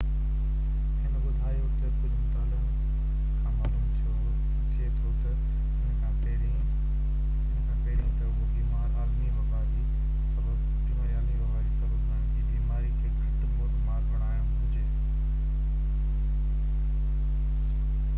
هن ٻڌايو تہ ڪجهہ مطالعن کان معلوم ٿئي ٿو تہ ان کان پهرين تہ اهو بيماري عالمي وبا جو سبب بڻجي بيماري کي گهٽ موتمار بڻائڻ گهرجي